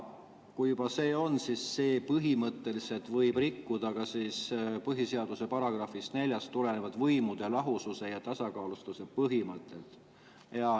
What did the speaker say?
" Ja see põhimõtteliselt võib rikkuda ka põhiseaduse §‑st 4 tulenevat võimude lahususe ja tasakaalustatuse põhimõtet.